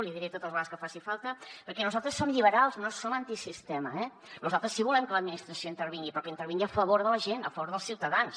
l’hi diré totes les vegades que faci falta perquè nosaltres som lliberals no som antisistema eh nosaltres sí que volem que l’administració intervingui però que intervingui a favor de la gent a favor dels ciutadans